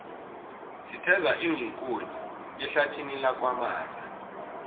sitheza iinkuni ehlathini lakwamaza